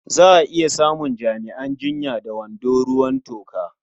Za a iya samun jami'an jinya da wando ruwan toka.